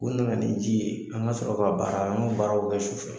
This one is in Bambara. U nana ni ji ye, an ka sɔrɔ k'a baara an k'o baaraw kɛ su fɛ.